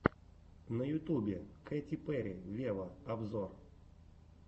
на ютубе кэти перри вево обзор